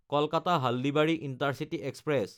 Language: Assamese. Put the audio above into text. কলকাতা–হালদিবাৰী ইণ্টাৰচিটি এক্সপ্ৰেছ